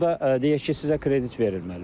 Burada deyək ki, sizə kredit verilməlidir.